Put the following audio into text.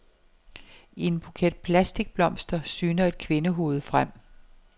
I en buket plastikblomster syner et kvindehoved frem.